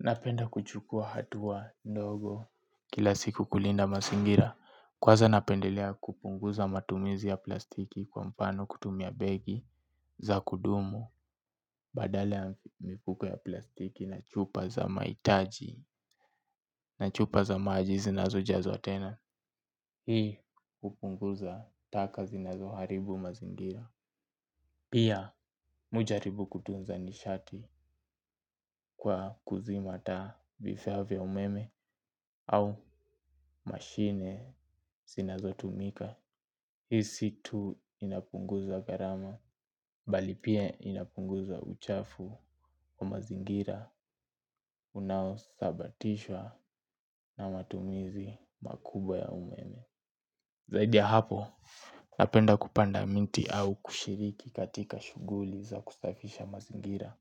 Napenda kuchukua hatua ndogo kila siku kulinda masingira. Kwaza napendelea kupunguza matumizi ya plastiki kwa mpano kutumia begi za kudumu. Badala ya mifuko ya plastiki na chupa za maitaji na chupa za maji zinazojazwa tena hii hupunguza taka zinazoharibu mazingira. Pia mi ujaribu kutunza nishati kwa kuzima taa bifyaa vya umeme au mashine Sinazotumika. Hii si tu inapunguza gharama bali pia inapunguza uchafu wa mazingira Unaosabatishwa Na matumizi makubwa ya umeme. Zaidi ya hapo napenda kupanda minti au kushiriki katika shughuli za kusafisha mazingira.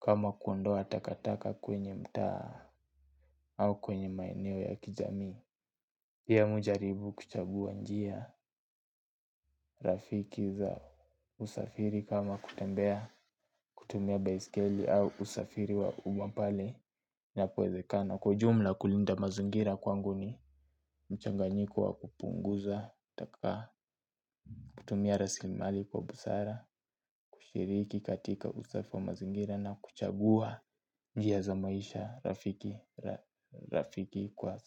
Kama kuondoa takataka kwenye mtaa au kwenye maeneo ya kijamii pia mi ujaribu kuchabua njia rafiki za usafiri kama kutembea kutumia baiskeli au usafiri wa umma pale inapowezekana. Kwa ujumla kulinda mazingira kwangu ni mchanganyiko wa kupunguza taka kutumia raslimali kwa busara, kushiriki katika usafi wa mazingira na kuchagua njia za maisha rafiki kwa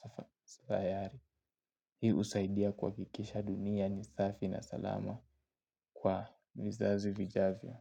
sayari. Hii usaidia kuhakikisha dunia ni safi na salama kwa vizazi vijavyo.